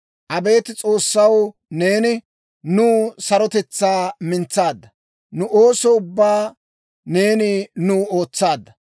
Abeet S'oossaw, neeni, nuw sarotetsaa mintsaadda; Nu ooso ubbaa neeni nuw ootsaadda.